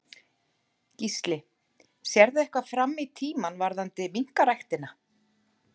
Gísli: Sérðu eitthvað fram í tímann varðandi minkaræktina?